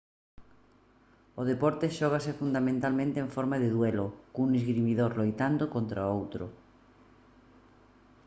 o deporte xógase fundamentalmente en forma de duelo cun esgrimidor loitando contra outro